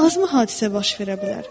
Azmı hadisə baş verə bilər?